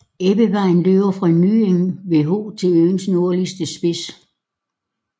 Ebbevejen løber fra Nyeng ved Ho til øens nordvestlige spids